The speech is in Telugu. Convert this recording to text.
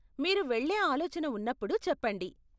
మీరు వెళ్ళే ఆలోచన ఉన్నప్పుడు చెప్పండి.